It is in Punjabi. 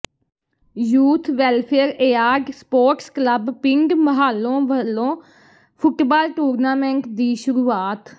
youth welfare and sports club ਪਿੰਡ ਮਹਾਲੋਂ ਵੱਲੋਂ ਫੁੱਟਬਾਲ ਟੂਰਨਾਮੈਂਟ ਦੀ ਸ਼ੁਰੂਆਤ